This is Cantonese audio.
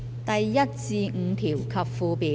第1至5條及附表。